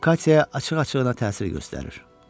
O Kamyaya açıq-açığına təsir göstərir.